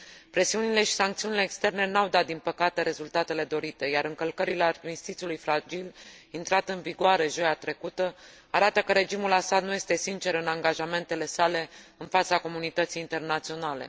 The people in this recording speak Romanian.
Presiunile și sancțiunile externe n au dat, din păcate, rezultatele dorite, iar încălcările armistițiului fragil, intrat în vigoare joia trecută, arată că regimul Assad nu este sincer în angajamentele sale în fața comunității internaționale.